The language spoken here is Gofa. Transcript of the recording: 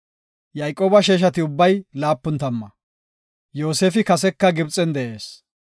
Yayqooba sheeshati ubbay laapun tamma. Yoosefi kaseka Gibxen de7ees.